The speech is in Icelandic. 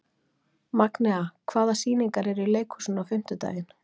Magnea, hvaða sýningar eru í leikhúsinu á fimmtudaginn?